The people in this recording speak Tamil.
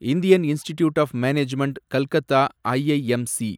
Indian Institute of Management Calcutta, IIMC